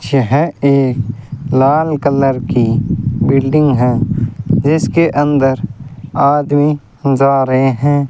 यह एक लाल कलर की बिल्डिंग है जिसके अंदर आदमी जा रहे हैं।